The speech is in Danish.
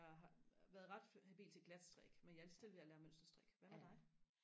jeg har været ret habil til glatstrik men jeg er lige så stille ved og lære mønsterstrik hvad med dig